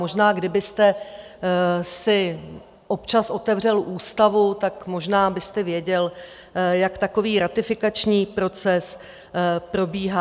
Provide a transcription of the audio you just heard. Možná kdybyste si občas otevřel ústavu, tak možná byste věděl, jak takový ratifikační proces probíhá.